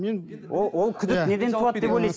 мен ол күдік неден туады деп ойлайсыз